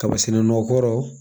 Kaba sɛnɛ nɔgɔ kɔrɔ